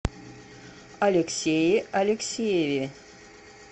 алексее алексееве